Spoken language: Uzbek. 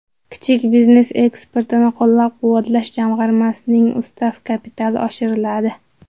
Kichik biznes eksportini qo‘llab-quvvatlash jamg‘armasining ustav kapitali oshiriladi.